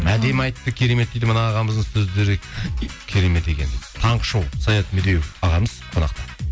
әдемі айтты керемет дейді мына ағамыздың сөздері керемет екен дейді таңғы шоу саят медеуов ағамыз қонақта